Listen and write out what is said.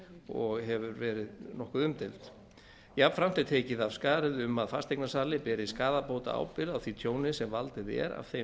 og hefur verið nokkuð umdeild jafnframt er tekið af skarið um að fasteignasali beri skaðabótaábyrgð á því tjóni sem valdið er af þeim